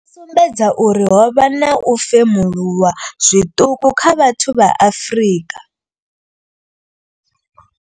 Yo sumbedza uri ho vha na u femuluwa zwiṱuku kha vhathu vha Afrika.